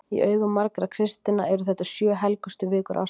Í augum margra kristinna eru þetta sjö helgustu vikur ársins.